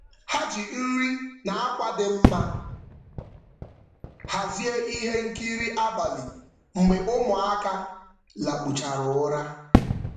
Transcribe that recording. Ha ji nri na akwa dị mma hazie ihe nkiri abalị mgbe ụmụaka lakpuchara ụra.